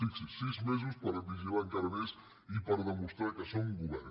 fixi’s sis mesos per vigilar encara més i per demostrar que són govern